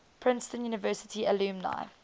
princeton university alumni